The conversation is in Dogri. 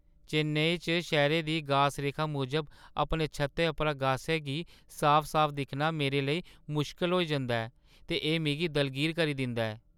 चेन्नई च, शैह्‌रे दी गास-रेखा मूजब अपने छत्तै उप्परा गासै गी साफ-साफ दिक्खना मेरे लेई मुश्कल होई जंदा ऐ ते एह् मिगी दलगीर करी दिंदा ऐ।